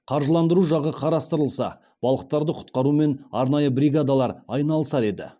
қаржыландыру жағы қарастырылса балықтарды құтқарумен арнайы бригадалар айналысар еді